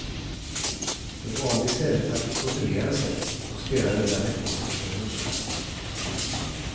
De valde i stället att profilera sig och spelade därmed bort förtroende.